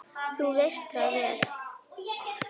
Þú veist það vel.